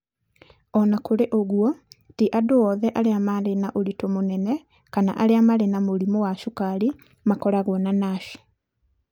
O na kũrĩ ũguo, ti andũ othe arĩa marĩ na ũritũ mũnene kana arĩa marĩ na mũrimũ wa cukari makoragwo na NASH.